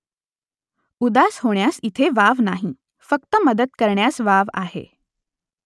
उदास होण्यास इथे वाव नाही फक्त मदत करण्यास वाव आहे